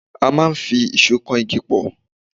A máa ń fi ìṣó kan igi pọ̀.